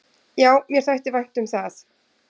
"""Já, mér þætti vænt um það."""